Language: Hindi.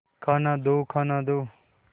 खाना दो खाना दो